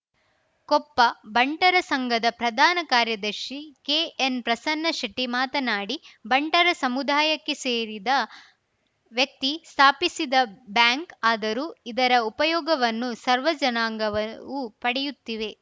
ಕೊಪ್ಪ ಬಂಟರ ಸಂಘದ ಪ್ರಧಾನ ಕಾರ್ಯದರ್ಶಿ ಕೆಎನ್‌ ಪ್ರಸನ್ನ ಶೆಟ್ಟಿಮಾತನಾಡಿ ಬಂಟರ ಸಮುದಾಯಕ್ಕೆ ಸೇರಿದ ವ್ಯಕ್ತಿ ಸ್ಥಾಪಿಸಿದ ಬ್ಯಾಂಕ್‌ ಆದರೂ ಇದರ ಉಪಯೋಗವನ್ನು ಸರ್ವ ಜನಾಂಗವವು ಪಡೆಯುತ್ತಿವೆ